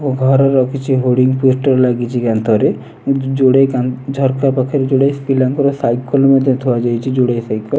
ଘର ର ହୋଡ଼ିଙ୍ଗି ପୋଷ୍ଟର ଲାଗିଛି କାନ୍ତରେ ଝରକା ପାଖରେ ଯୋଡ଼େ ପିଲାଙ୍କ ସାଇକେଲ ଥୁଆହୋଇଚି ଯୋଡ଼େ ସାଇକେଲ ।